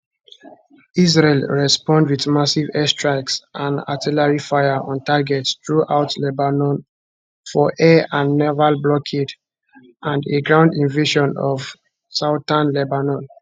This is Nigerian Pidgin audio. israel respond wit massive airstrikes and artillery fire on targets throughout lebanon for air and naval blockade and a ground invasion of southern lebanon